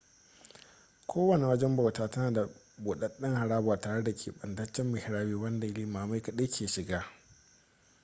kowane wajen bauta tana da budaden haraba tare da kebantaccen mihrabi wanda limamai kadai ke shiga